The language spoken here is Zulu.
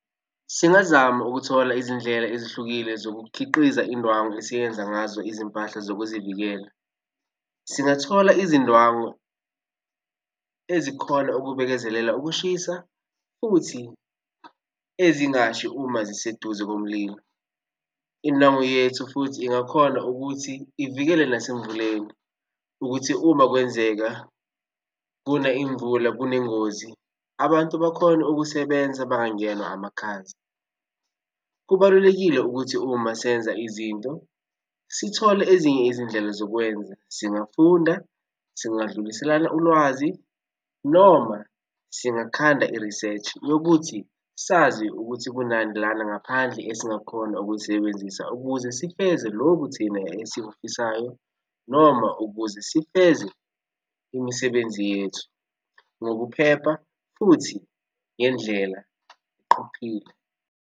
Singazama ukuthola izindlela ezihlukile zokukhiqiza indwangu esiyenza ngazo izimpahla zokuzivikela. Singathola izindwangu ezikhona ukubekezelela ukushisa futhi ezingashi uma ziseduze komlilo. Indwangu yethu futhi ingakhona ukuthi ivikele nasemvuleni ukuthi uma kwenzeka kuna imvula kunengozi, abantu bakhone ukusebenza bangangenwa amakhaza. Kubalulekile ukuthi uma senza izinto sithole ezinye izindlela zokwenza. Singafunda singadluliselana ulwazi noma singakhanda i-research yokuthi sazi ukuthi kunani lana ngaphandle esingakhona ukuyisebenzisa ukuze sifeze lokhu thina esikufisayo noma ukuze sifeze imisebenzi yethu ngokuphepha futhi ngendlela qophile.